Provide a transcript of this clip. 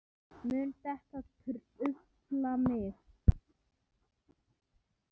Mun þetta trufla mig?